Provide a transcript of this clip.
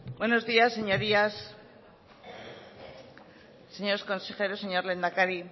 buenos días señorías señores consejeros señor lehendakari